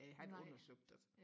jeg har ikke undersøgt det